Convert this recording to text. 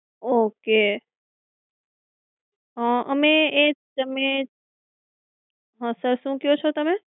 okay. અ અમે એ તમે, હાં sir શું ક્યો છો તમે?